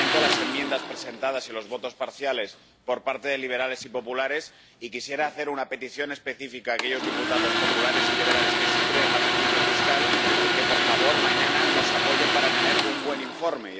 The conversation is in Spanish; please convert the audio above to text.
Lamento las enmiendas presentadas y los votos parciales por parte de liberales y populares y quisiera hacer una petición específica a aquellos diputados populares y liberales que sí creen en la justicia fiscal que, por favor, mañana nos apoyen para tener un buen informe.